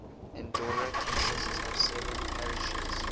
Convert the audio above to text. andorra consists of seven parishes